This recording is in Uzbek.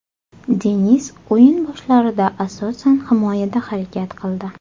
Denis o‘yin boshlarida asosan himoyada harakat qildi.